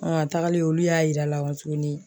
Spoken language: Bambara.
a tagalen olu y'a yir'a la kɔ tuguni